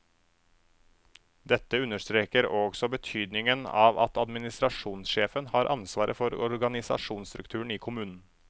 Dette understreker også betydningen av at administrasjonsjefen har ansvaret for organisasjonsstrukturen i kommunen.